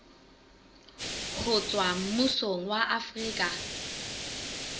ho tswa mmusong wa afrika